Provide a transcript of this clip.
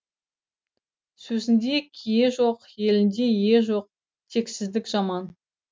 сөзінде кие жоқ елінде ие жоқ тексіздік жаман